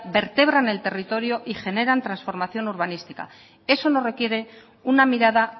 vertebran el territorio y generan transformación urbanística eso nos requiere una mirada